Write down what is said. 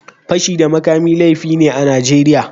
Fashi da makami laifi ne a Najeriya